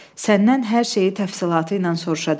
Səndən hər şeyi təfsilatı ilə soruşacam.